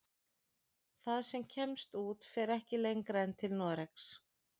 Það sem kemst út fer ekki lengra en til Noregs.